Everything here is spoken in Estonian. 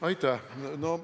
Aitäh!